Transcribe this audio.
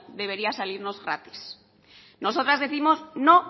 debería salirnos gratis nosotras décimos no